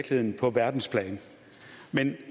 men